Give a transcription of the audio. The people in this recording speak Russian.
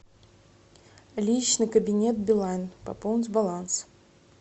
личный кабинет билайн пополнить баланс